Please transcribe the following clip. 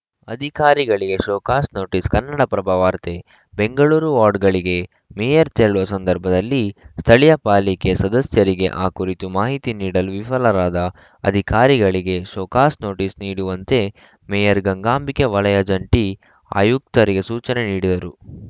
ಅಧಿಕಾರಿಗಳಿಗೆ show cause notice Kannadaprabha ವಾರ್ತೆ ಬೆಂಗಳೂರು ವಾರ್ಡ್‌ಗಳಿಗೆ ಮೇಯರ್‌ ತೆರಳುವ ಸಂದರ್ಭದಲ್ಲಿ ಸ್ಥಳೀಯ ಪಾಲಿಕೆ ಸದಸ್ಯರಿಗೆ ಆ ಕುರಿತು ಮಾಹಿತಿ ನೀಡಲು ವಿಫಲರಾದ ಅಧಿಕಾರಿಗಳಿಗೆ ಶೋಕಾಸ್‌ ನೋಟಿಸ್‌ ನೀಡುವಂತೆ ಮೇಯರ್‌ ಗಂಗಾಂಬಿಕೆ ವಲಯ ಜಂಟಿ ಆಯುಕ್ತರಿಗೆ ಸೂಚನೆ ನೀಡಿದರು